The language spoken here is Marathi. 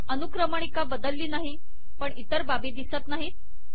अनुक्रमणिका बदलली नाही पण इतर बाबी दिसत नाहीत